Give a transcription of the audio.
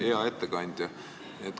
Hea ettekandja!